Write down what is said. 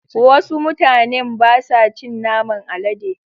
Wasu mutanen ba sa cin naman Alade